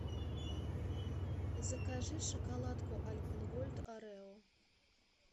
закажи шоколадку альпен гольд орео